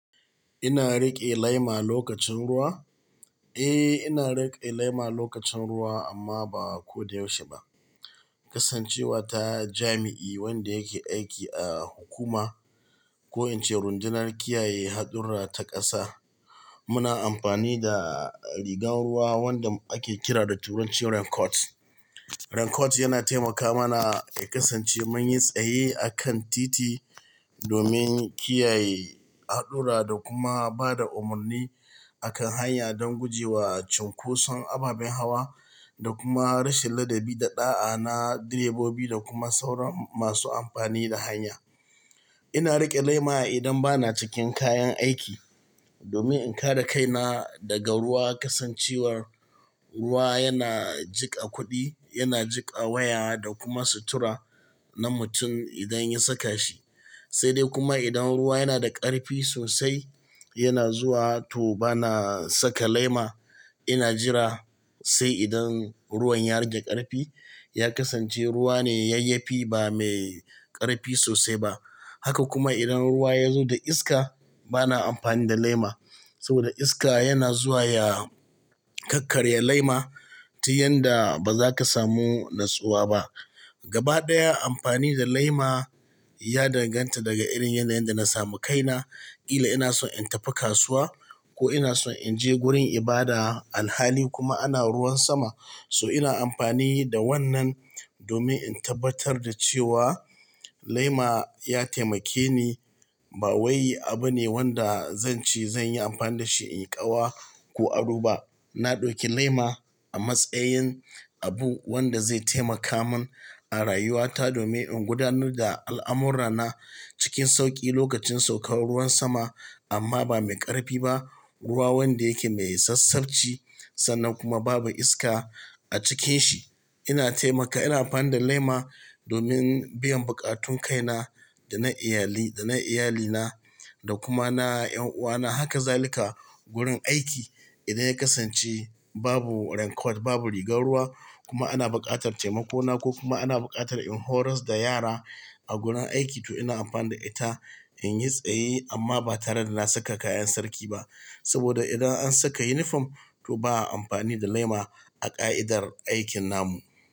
Ina riƙe lema lokacin ruwa. Eh, ina riƙe lema lokacin ruwa amma ba ko da yaushe ba. Kasancewa ta jami'i wanda yake aiki a hukuma, ko in ce rundunar kiyaye haɗurra ta ƙasa, muna amfani da rigar ruwa wanda ake kira da turancin raincoat. Raincoat yana taimaka mana ya kasance mun yi tsaye akan titi, domin kiyaye haɗurra da kuma ba da umarni akan hanya don guje wa cunkoson ababen hawa da kuma rashin ladabi da ɗa'a na direbobi da kuma sauran masu amfani da hanya. Ina riƙe lema idan bana cikin kayan aiki, domin in ƙara kaina daga ruwa. Kasancewar ruwa yana jika kuɗi, yana jika waya da kuma sutura na mutum idan ya saka shi. Sai dai kuma idan ruwa yana da ƙarfi sosai, yana zuwa to bana saka lema. Ina jira sai idan ruwan ya rage ƙarfi, ya kasance ruwa ne yayyafi ba mai ƙarfi sosai ba. Haka kuma idan ruwa ya zo da iska, bana amfani da lema. Saboda iska yana zuwa ya kakkarya lema, ta yadda ba za ka samu natsuwa ba. Gaba ɗaya amfani da lema ya danganta daga irin yanda yadda na samu kaina. Ƙila ina son in tafi kasuwa ko ina son in je gurin ibada, alhali kuma ana ruwan sama, so ina amfani da wannan domin in tabbatar da cewa lema ya taimake ni. Ba wai abu ne wanda zan ci, zan yi amfani da shi in ƙawa ko aro ba. Na ɗauki lema a matsayin abu wanda zai taimaka mun a rayuwata domin in gudanar da al'amurrana cikin sauƙi lokacin saukar ruwan sama. Amma ba mai ƙarfi ba, ruwa wanda yake mai sassaɓci sannan kuma babu iska a cikin shi, yana taimaka. Ina amfani da lema domin biyan buƙatun kaina da na iyali, da na iyalina da kuma na 'yan uwana. Haka zalika wurin aiki idan ya kasance babu raincoat, babu rigar ruwa kuma ana buƙatar taimako na ko kuma ana buƙatar in horas da yara a gurin aiki to ina amfani da ita in yi tsaye amma ba tare da na saka kayan sarki ba. Saboda idan an saka yunifom to ba a amfani da lema a ƙa'idar aikin namu.